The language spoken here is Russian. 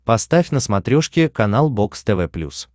поставь на смотрешке канал бокс тв плюс